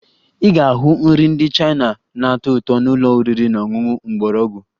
Ị ga-ahụ nri ndị China na-atọ ụtọ na ụlọ oriri na ọṅụṅụ mgbọrọgwụ